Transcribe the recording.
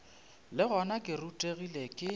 le gona ke rutegile ke